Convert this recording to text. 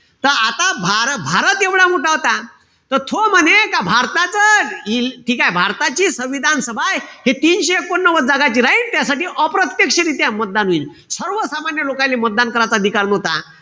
त आता भा भारत एवढा मोठा होता. त तो म्हणे का भारताचं ठीकेय? भारताची संविधान सभाय, हे तीनशे एकोणनव्वद जागाची राईन. त्यासाठी अप्रत्यक्षरीत्या मतदान व्हीन. सर्वसामान्य लोकाईले मतदान करायचा अधिकार नव्हता.